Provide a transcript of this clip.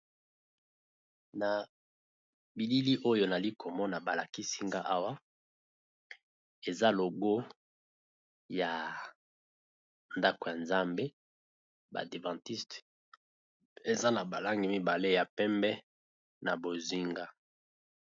Na bilili oyo nali komona balakisi ngaawa eza logo ya ndako ya nzambe badevantiste eza na balangi mibale ya pembe na bozinga.